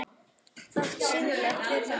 Fátt siðlegt við það?